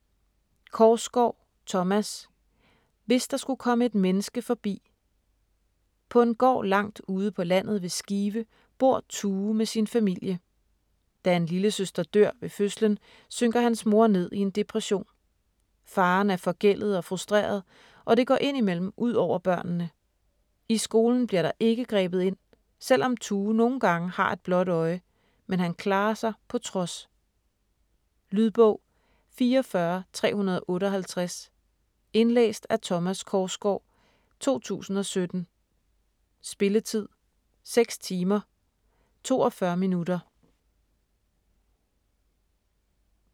Korsgaard, Thomas: Hvis der skulle komme et menneske forbi På en gård langt ude på landet ved Skive bor Tue med sin familie. Da en lillesøster dør ved fødslen, synker hans mor ned i en depression. Faderen er forgældet og frustreret, og det går ind imellem ud over børnene. I skolen bliver der ikke grebet ind, selvom Tue nogle gange har et blåt øje, men han klarer sig på trods. Lydbog 44358 Indlæst af Thomas Korsgaard, 2017. Spilletid: 6 timer, 42 minutter.